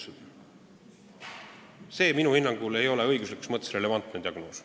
See ei ole minu hinnangul õiguslikus mõttes relevantne diagnoos.